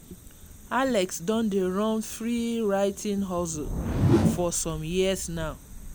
alex don dey run free writing hustle for some years now.